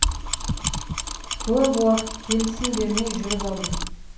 көп уақыт келісім бермей жүріп алдым